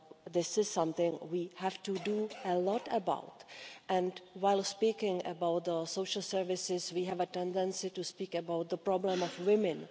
This is something we have to do a lot about and while speaking about the social services we have a tendency to speak about the problem of women.